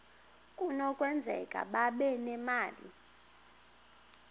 kunokwenzeka babe nemali